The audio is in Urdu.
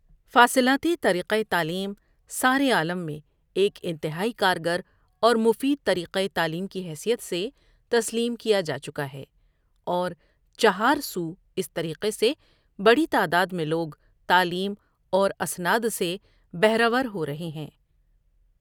فاصلاقی طریقیہ تعلیم سارے عالم میں ایک انتہائی کارگر اورمفید طر یقہ تعلیم کی حیثیت سے تسلیم کیا جاچکا ہے اور چہارسواس طریقے سے بڑی تعراد میں لوگ تعلیم اورا سناد سے بہرہ ور ہورہے ہیں۔